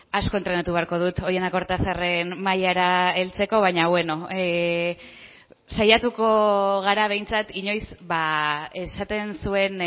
asko entrenatu beharko dut oihana kortazarren mailara heltzeko baina beno saiatuko gara behintzat inoiz esaten zuen